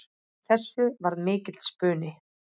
Af þessu varð mikill spuni.